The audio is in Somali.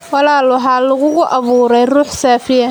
walaal waxaa lagugu abuuray ruux saafiya.